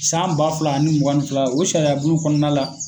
San ba fila ani mugan ni fila. O sariya bulon kɔnɔna la